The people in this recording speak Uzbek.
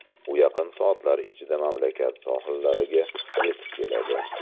U yaqin soatlar ichida mamlakat sohillariga yetib keladi.